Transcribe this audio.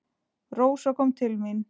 Rósa kom til mín.